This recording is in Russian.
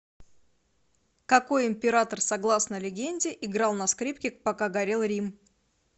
какой император согласно легенде играл на скрипке пока горел рим